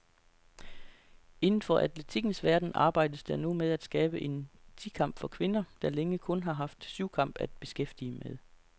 Inden for atletikkens verden arbejdes der nu med at skabe en ti kamp for kvinder, der længe kun har haft syvkamp at beskæftige med.